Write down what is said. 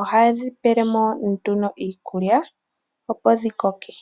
ohaye dhi pelemo nduno iikulya opo dhi koke.